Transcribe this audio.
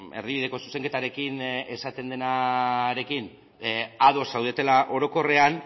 erdibideko zuzenketarekin esaten denarekin ados zaudetela orokorrean